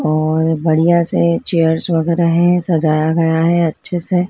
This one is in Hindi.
और बढ़िया से चेयर्स वगैरा हैं सजाया गया हैं अच्छे से--